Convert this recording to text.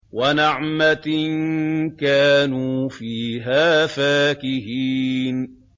وَنَعْمَةٍ كَانُوا فِيهَا فَاكِهِينَ